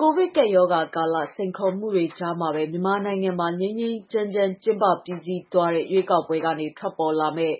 ကိုဗစ်ကပ်ရောဂါကာလ စိန်ခေါ်မှုတွေ ကြားမှာပဲ မြန်မာနိုင်ငံမှာ ငြိမ်းငြိမ်းချမ်းချမ်း ကျင်းပပြီးစီးသွားတဲ့ ရွေးကောက်ပွဲကနေ ထွက်ပေါ်လာမယ့်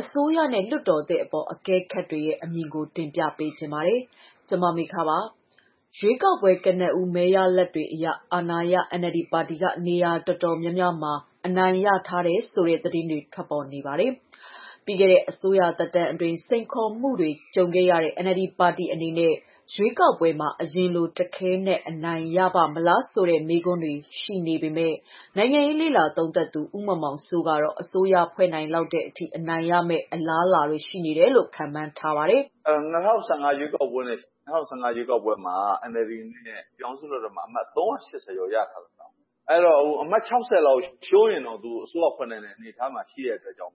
အစိုးရနဲ့ လွှတ်တော်သစ်အပေါ် အကဲခတ်တွေရဲ့ အမြင်တွေကို တင်ပြပါမယ်။ ဗွီအိုအေမြန်မာပိုင်း သတင်းထောက် မမေခက သတင်းပေးပို့ထားပါတယ်။ ရွေးကောက်ပွဲ ကနဦးမဲရလဒ်တွေအရ အာဏာရ NLD ပါတီက နေရာတော်တော်များများမှာ အနိုင်ရထားတယ်ဆိုတဲ့ သတင်းတွေ ထွက်ပေါ်နေပါတယ်။ ပြီးခဲ့တဲ့ အစိုးရသက်တမ်းအတွင်း စိန်ခေါ်မှုတွေ ကြုံခဲ့ရတဲ့ NLD ပါတီအနေနဲ့ ရွေးကောက်ပွဲမှာ အရင်လို တခဲနက် အနိုင်ရပါ့မလားဆိုတဲ့ မေးခွန်းတွေ ရှိနေပေမဲ့ နိုင်ငံရေး လေ့လာသုံးသပ်သူ ဦးမောင်မောင်စိုးကတော့ အစိုးရဖွဲ့နိုင်လောက်တဲ့အထိ အနိုင်ရမယ့် အလားအလာတွေ ရှိတယ်လို့ ခန့်မှန်းထားပါတယ်။ "၂၀၁၅ ရွေးကောက်ပွဲမှာ NLD အနေနဲ့ အမတ် နေရာ ၃၈၀ ကျော်ရထားတော့ အမတ် ၆၀ လောက်ရှုံးရင်တောင် သူက အစိုးရဖွဲ့နိုင်တဲ့ အနေအထားမှာရှိတဲ့အတွက်ကြောင့်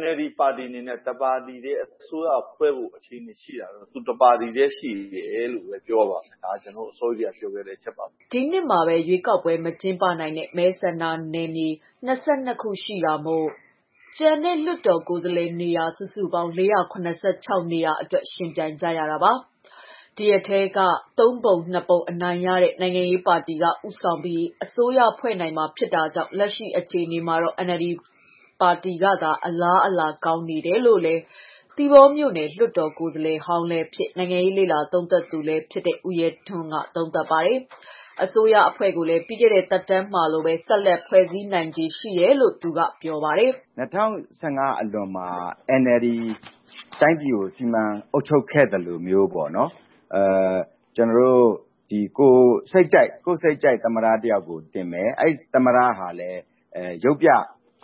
NLD ပါတီအနေနဲ့ တစ်ပါတီထဲ အစိုးရဖွဲ့ဖို့အခြေအနေရှိတာတော့ သူတစ်ပါတီထဲ ရှိသေးတယ်လို့ ပြောရပါလိမ့်မယ်။ ဒါ ကျနော် အစောကြီးထဲက မြင်တဲ့ အချက်ပါပဲ။" ဒီနှစ်မှာ ရွေးကောက်ပွဲ မကျင်းပနိုင်တဲ့ မဲဆန္ဒနယ်မြေ ၂၂ ခု ရှိတာမို့ ကျန်တဲ့ လွှတ်တော်ကိုယ်စားလှယ်နေရာ စုစုပေါင်း ၄၇၆ နေရာအတွက် ယှဉ်ပြိုင်ကြရတာပါ။ ဒီအထဲက ၃ ပုံ ၂ ပုံ အနိုင်ရတဲ့ နိုင်ငံရေးပါတီက ဦးဆောင်ပြီး အစိုးရဖွဲ့ရမှာဖြစ်တာကြောင့် လက်ရှိအခြေအနေမှာတော့NLD ပါတီကသာ အလားအလာကောင်းနေတယ်လို့လည်း သီပေါမြို့နယ် လွှတ်တော်ကိုယ်စားလှယ်ဟောင်းလည်းဖြစ်၊ နိုင်ငံရေး လေ့လာသုံးသပ်သူလည်းဖြစ်တဲ့ ဦးရဲထွန်းက သုံးသပ်ပါတယ်။ အစိုးရအဖွဲ့ကိုလည်း ပြီးခဲ့တဲ့ သက်တမ်းမှာလိုပဲ ဆက်လက်ဖွဲ့စည်းနိုင်ခြေ ရှိတယ်လို့ ပြောပါတယ်။ "၂၀၁၅ အလွန်မှာ NLD တိုင်းပြည်ကို စီမံအုပ်ချုပ်ခဲ့သလိုမျိုး ကိုယ့်စိတ်ကြိုက်သမ္မတတယောက်ကို တင်မယ်။ အဲဒီ သမ္မတဟာလည်း ရုပ်ပြ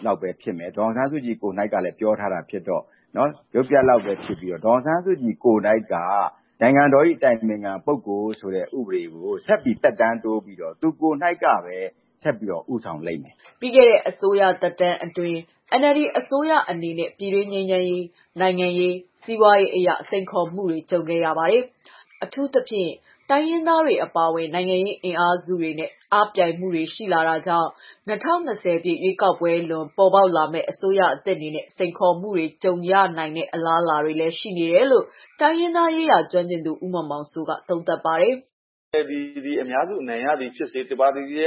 လောက်ပဲ ဖြစ်မယ်။ ဒေါ်အောင်ဆန်းစုကြည်ကိုယ်တိုင်ပြောထားတာဖြစ်တော့ နိုင်ငံတော်တိုင်ပင်ခံပုဂ္ဂိုလ်ဆိုတာကို ဆက်ပြီး သက်တမ်း တိုးပြီးတော့ သူကိုယ်တိုင်ကပဲ ဆက်ဦးဆောင်လိမ့်မယ်လို့ထင်တယ်။" ပြီးခဲ့တဲ့ အစိုးရသက်တမ်းအတွင်း NLD အစိုးရအနေနဲ့ ပြည်တွင်းငြိမ်းချမ်းရေး၊ နိုင်ငံရေး၊ စီးပွားရေးအရ စိန်ခေါ်မှုတွေ ကြုံခဲ့ရတာပါ။ အထူးသဖြင့် တိုင်းရင်းသားတွေ အပါအဝင် နိုင်ငံရေး အင်အားစုတွေနဲ့ အားပြိုင်မှုတွေလည်း ရှိခဲ့တာကြောင့် ၂၀၂၀ ပြည့် ရွေးကောက်ပွဲလွန် ပေါ်ပေါက်လာမယ့် အစိုးရသစ်အနေနဲ့ စိန်ခေါ်မှုတွေ ကြုံရနိုင်တဲ့ အလားအလာတွေလည်း ရှိနေတယ်လို့ တိုင်းရင်းသားရေးရာ ကျွမ်းကျင်သူ ဦးမောင်မောင်စိုးက သုံးသပ်ပါတယ်။ "NLD သည် အများစု အနိုင်ရသည် ဖြစ်စေ၊ တစ်ပါတီထဲ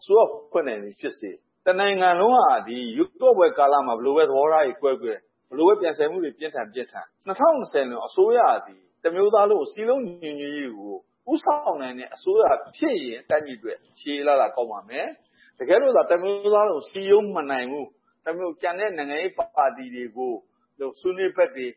အစိုးရဖွဲ့နိုင်သည်ဖြစ်စေ တနိုင်ငံလုံးရွေးကောက်ပွဲကာလမှာ ဘယ်လိုပဲ သဘောထားတွေ ကွဲကွဲ၊ ဘယ်လိုပဲ ပြိုင်ဆိုင်မှုတွေ ပြင်းထန် ပြင်းထန် ၂၀၂၀ လွန် အစိုးရသည် တမျိုးသားလုံးစည်းလုံးညီညွှတ်ရေးကို ဦးဆောင်နိုင်တဲ့ အစိုးရဖြစ်ရင် တိုင်းပြည်အတွက် ရှေးရေးအလားအလာ ကောင်းပါမယ်။ တကယ်လို့သာ တမျိုးသားလုံးကို စည်းရုံးမနိုင်လို့ ကျန်တဲ့ နိုင်ငံရေးပါတီတွေကို ဆွေးနွေးဘက်တွေ၊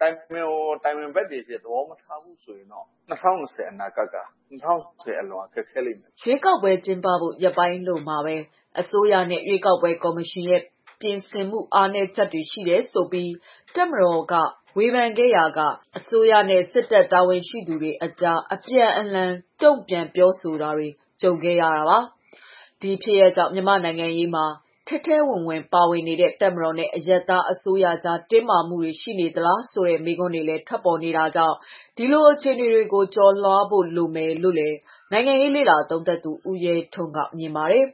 တိုင်ပင်ဖော်၊ တိုင်ပင်ဖက်တွေ သဘောမထားဘူးဆိုရင်တော့ ၂၀၂၀ အနာဂတ်က ၂၀၂၀ အလွန်မှာ ခက်ခဲလိမ့်မယ်။" ရွေးကောက်ပွဲ ကျင်းပဖို့ ရက်ပိုင်းအလိုမှာပဲ အစိုးရနဲ့ ရွေးကောက်ပွဲ ကော်မရှင်ရဲ့ ပြင်ဆင်မှုတွေမှာ အားနည်းချက်တွေ ရှိနေတယ်ဆိုပြီး တပ်မတော်က ဝေဖန်ခဲ့ရာက အစိုးရနဲ့ စစ်တပ်တာဝန်ရှိသူတွေကြား အပြန်အလှန် တုံ့ပြန်ပြောဆိုတာတွေလည်း ကြုံခဲ့ရတာပါ။ ဒီဖြစ်ရပ်ကြောင့် မြန်မာ့နိုင်ငံရေးမှာ ထဲထဲဝင်ဝင်ပါနေတဲ့ တပ်မတော်နဲ့ အရပ်သားအစိုးရကြား တင်းမာမှုတွေ ရှိနေသလားဆိုတဲ့ မေးခွန်းတွေလည်း ထွက်ပေါ်ခဲ့တာကြောင့် ဒီလိုအခြေအနေတွေကို ကျော်လွှားဖို့လိုမယ်လို့လည်း နိုင်ငံရေးလေ့လာသုံးသပ်သူ ဦးရဲထွန်း ကမြင်ပါတယ်။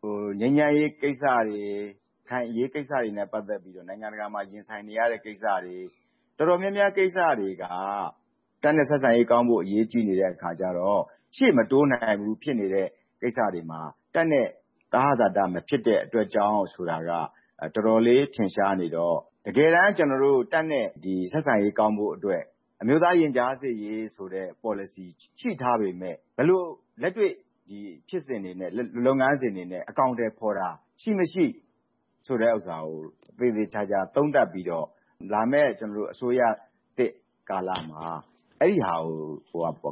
"ငြိမ်းချမ်းရေးကိစ္စတွေ၊ ရခိုင်အရေးကိစ္စတွေနဲ့ ပတ်သက်ပြီးတော့ နိုင်ငံတကာမှာ ရင်ဆိုင်နေရတဲ့ ကိစ္စတွေ တော်တော်များများကိစ္စတွေက တပ်နဲ့ ဆက်ဆံရေးကောင်းဖို့ အရေးကြီးနေတဲ့အခါကျတော့ ရှေ့မတိုးနိုင်ဘူး ဖြစ်နေတဲ့ ကိစ္စတွေမှာ တပ်နဲ့ သဟဇာတ မဖြစ်တဲ့အတွက်ကြောင့်ဆိုတာက တော်တော်လေး ထင်ရှားနေတော့ တကယ်တန်းတပ်နဲ့ ဆက်ဆံရေး ကောင်းဖို့အတွက် အမျိုးသား ရင်ကြားစေ့ရေးဆိုတဲ့ ပေါ်လစီရှိထားပေမဲ့ ဘယ်လို ဒီလက်တွေ့ ဖြစ်စဉ်တွေနဲ့ လုပ်ငန်းစဉ်တွေနဲ့ အကောင်အထည်ဖော်တာရှိ၊ မရှိ ဆိုတဲ့ဟာကို သေသေချာချာ သုံးသပ်ပြီးတော့ လာမယ့် အစိုးရသစ်ကာလမှာ အဲဒီဟာ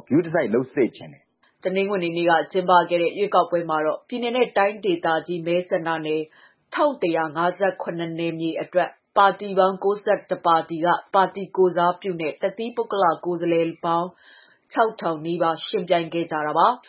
ကို ဂရုတစိုက်လုပ်စေချင်တယ်။" တနင်္ဂနွေနေ့က ကျင်းပခဲ့တဲ့ ရွေးကောက်ပွဲမှာတော့ ပြည်နယ် တိုင်းဒေသကြီး မဲဆန္ဒနယ် ၁,၁၅၇ နယ်မြေအတွက် ပါတီပေါင်း ၉၁ ပါတီက ပါတီကိုယ်စားပြုနဲ့ တသီးပုဂ္ဂလ ကိုယ်စားလှယ်ပေါင်း ၅,၈၃၉ ဦး ယှဉ်ပြိုင်ခဲ့ကြတာပါ။